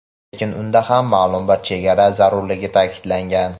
lekin unda ham ma’lum bir chegara zarurligini ta’kidlagan.